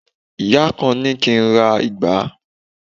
ìyá kan ni ki n ra ìgbá